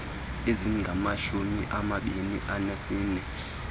ezingamashumi amabini anesine